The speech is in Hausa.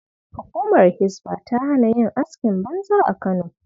Hukumar Hisba ta hana yin askin banza a Kano.